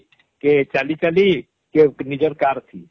କେ ଚାଲି ଚାଲି କେ ନିଜର car ଥି